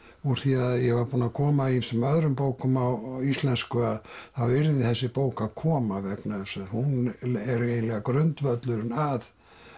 úr því að ég var búinn að koma ýmsum öðrum bókum á íslensku að þá yrði þessi bók að koma vegna þess að hún er eiginlega grundvöllurinn að